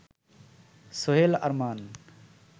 Sohel Arman